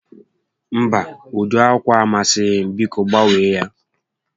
Mba, ụdị ákwà a amasighị m, biko gbanwee ya